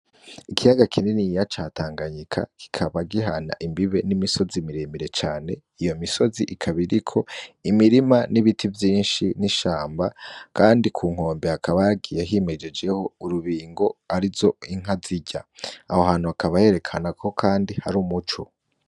Igiyaga kininiya ca tanganyika kikaba gihana imbibe n'imisozi miremire cane iyo misozi ikaba iriko imirima n'ibiti vyinshi n'ishamba, kandi ku nkombe hakaba hagiye himejejeho urubingo arizo inka zirya aho hantu hakaba herekana ko kandi har'umuco